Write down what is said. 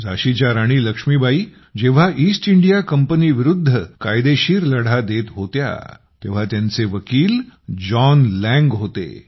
झाशीच्या राणी लक्ष्मीबाई जेव्हा East India कंपनीविरुद्ध कायदेशीर लढा देत होत्या तेव्हा त्यांचे वकील जॉन लँग होते